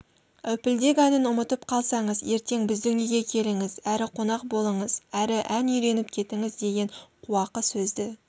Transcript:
әупілдек әнін ұмытып қалсаңыз ертең біздің үйге келіңіз әрі қонақ болыңыз әрі ән үйреніп кетіңіз деген қуақы сөзді